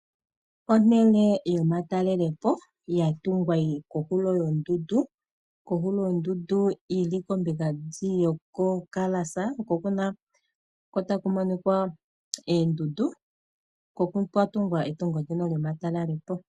Ehala lyomatalelepo lyatungwa lyili kohulo yondundu yili kombinga ndjiya yoko kalasa oko takuminika oondundu oko kwatungwa ehala ndoka lyomatalelepo.